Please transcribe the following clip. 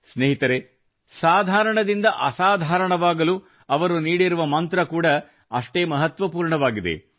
ಸ್ನೇಹಿತರೇ ಸಾಧಾರಣದಿಂದ ಅಸಾಧಾರಣವಾಗಲು ಅವರು ನೀಡಿರುವ ಮಂತ್ರ ಕೂಡಾ ಅಷ್ಟೇ ಮಹತ್ವಪೂರ್ಣವಾಗಿದೆ